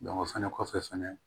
o fɛnɛ kɔfɛ fɛnɛ